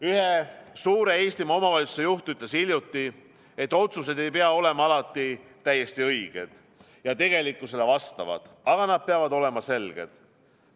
Ühe suure Eesti omavalitsuse juht ütles hiljuti, et otsused ei pea olema alati täiesti õiged ja tegelikkusele vastavad, aga nad peavad olema selged.